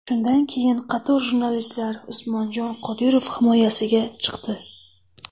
Shundan keyin qator jurnalistlar Usmonjon Qodirov himoyasiga chiqdi .